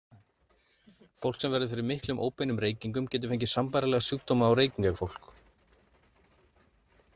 Fólk sem verður fyrir miklum óbeinum reykingum getur fengið sambærilega sjúkdóma og reykingafólk.